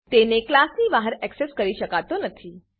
તેને ક્લાસની બહાર એક્સેસ કરી શકાતો નથી